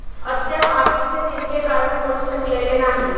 अद्याप आगीचे नेमके कारण कळू शकलेले नाही.